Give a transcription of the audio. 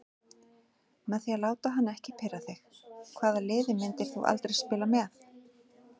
Með því að láta hann ekki pirra þig Hvaða liði myndir þú aldrei spila með?